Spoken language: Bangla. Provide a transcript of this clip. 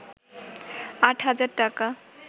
৮ হাজার টাকা